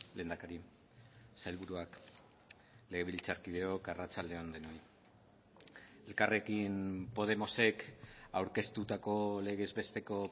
lehendakari sailburuak legebiltzarkideok arratsalde on denoi elkarrekin podemosek aurkeztutako legezbesteko